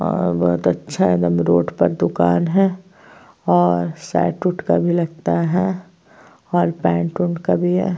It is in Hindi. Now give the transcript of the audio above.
और बहोत अच्छा है एकदम रोड पर दुकान है और शर्ट उर्ट का भी लगता है और पैंट ऊंट का भी है।